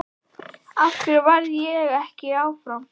Af hverju varð ég ekki áfram?